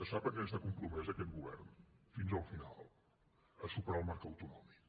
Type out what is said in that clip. sap a què està compromès aquest govern fins al final a superar el marc autonòmic